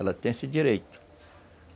Ela tem esse direito.